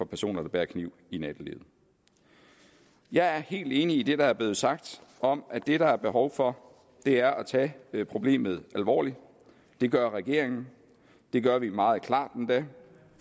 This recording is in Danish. personer der bærer kniv i nattelivet jeg er helt enig i det der er blevet sagt om at det der er behov for er at tage problemet alvorligt det gør regeringen det gør vi meget klart endda